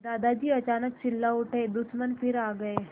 दादाजी अचानक चिल्ला उठे दुश्मन फिर आ गए